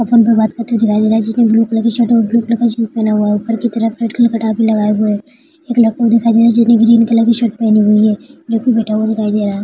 Phone पे बाते करते हुआ दिखाई दे रहा है जिसने ब्लू कलर की शर्ट और ब्लू कलर की जीन्स पहना हुआ है ऊपर की तरफ रेड कलर की कटा भी लगाए हुए है एक लड़का दिखाई दे रहा है जिसने ग्रीन कलर की शर्ट पहनी हुई है जोकि बैठा हुआ दिखाई दे रहा है।